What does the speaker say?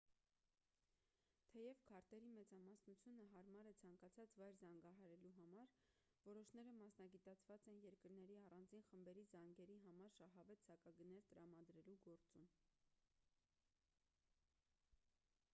թեև քարտերի մեծամասնությունը հարմար է ցանկացած վայր զանգահարելու համար որոշները մասնագիտացած են երկրների առանձին խմբերի զանգերի համար շահավետ սակագներ տրամադրելու գործում